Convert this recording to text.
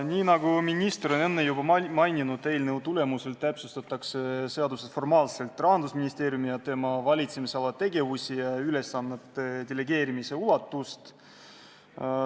Nii nagu minister enne juba mainis, täpsustatakse eelnõuga seaduse tasandil Rahandusministeeriumi ja tema valitsemisala tegevusi ning ülesannete delegeerimise ulatust.